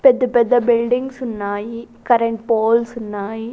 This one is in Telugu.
పెద్ద పెద్ద బిల్డిండ్స్ ఉన్నాయి కరెంటు పోల్స్ ఉన్నాయి.